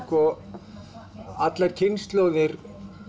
alla kynslóðir